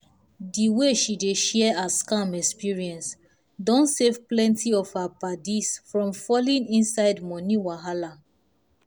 the way she dey dey share her scam experience don save plenty of her paddies from falling inside money wahala.